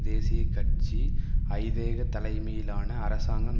தேசிய கட்சி ஐதேக தலைமையிலான அரசாங்கம்